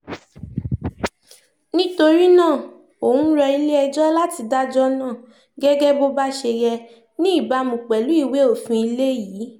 nítorí náà òún rọ ilé-ẹjọ́ láti dájọ́ náà gẹ́gẹ́ bó bá ṣe yẹ ní ìbámu pẹ̀lú ìwé òfin ilé yìí